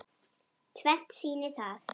Tvennt sýni það.